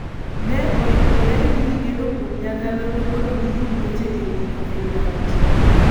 ne oyudore ni gigeno kuom nyakalondo mondo giyud weche ewi Covid-19.